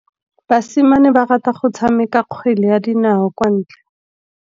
Basimane ba rata go tshameka kgwele ya dinaô kwa ntle.